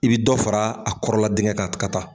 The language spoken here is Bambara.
I bi dɔ fara a kɔrɔla diŋɛ ka t ka taa.